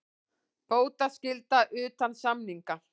Bótaskylda utan samninga.